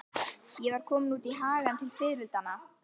Ég var komin út í hagann til fiðrildanna.